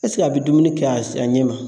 a bɛ dumuni kɛ a ɲɛ ma?